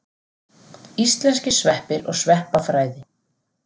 Íslenskir sveppir og sveppafræði.